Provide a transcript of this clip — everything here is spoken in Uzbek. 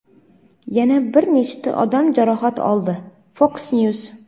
yana bir nechta odam jarohat oldi – "Fox News".